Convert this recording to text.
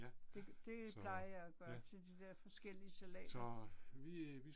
Det det plejer jeg at gøre til de der forskellige salater